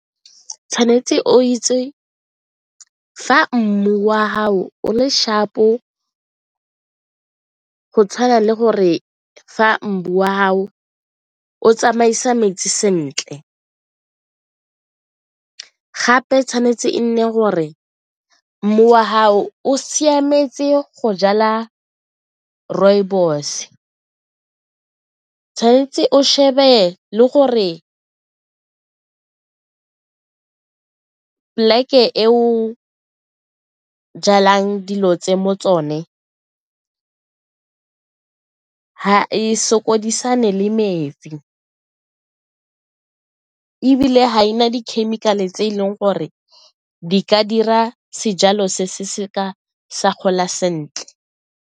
Tshwanetse o itse fa mmu wa gago o le sharp-o go tshwana le gore fa mmu wa gago o tsamaisa metsi sentle gape tshwanetse e nne gore mmu wa gago o siametse go jala rooibos, o tshwanetse o shebe le gore plek-e e o jalang dilo tse mo tsone ga e sokodisane le metsi ebile ga e na di-chemical-e tse e leng gore di ka dira sejalo se seka sa gola sentle.